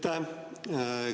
Aitäh!